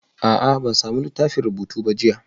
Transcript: A'a, ban sami littafin rubutu ba jiya